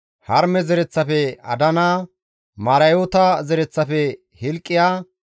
Harime zereththafe Adana, Marayoota zereththafe Hilqiya,